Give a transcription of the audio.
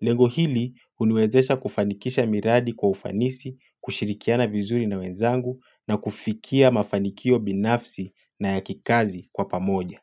Lengo hili huniwezesha kufanikisha miradi kwa ufanisi, kushirikiana vizuri na wenzangu na kufikia mafanikio binafsi na yakikazi kwa pamoja.